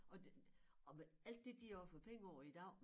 Og og med alt det de har fået penge over i dag